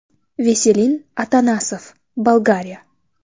Veselin Atanasov, Bolgariya.